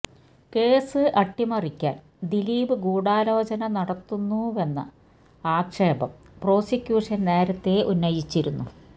case അട്ടിമറിക്കാൻ ദിലീപ് ഗൂഡോലചന നടത്തുന്നുവെന്ന ആക്ഷേപം പ്രോസിക്യൂഷൻ നേരത്തെ ഉന്നയിച്ചിരുന്നു